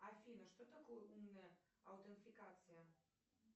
афина что такое умная аутентификация